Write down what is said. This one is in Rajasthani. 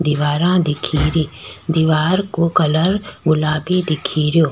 दिवारा दिखेरी दिवार को कलर गुलाबी दिखरयो।